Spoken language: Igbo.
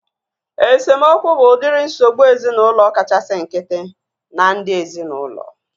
Esemokwu bụ udiri nsogbu ezinaụlọ kachasị nkịtị na ndị ezinaụlọ